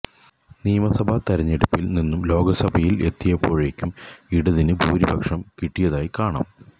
നിയമസഭാ തിരെഞ്ഞെടുപ്പിൽ നിന്നും ലോകസഭയിൽ എത്തിയപ്പോഴേക്കും ഇടതിന് ഭൂരിപക്ഷം കിട്ടിയതായി കാണാം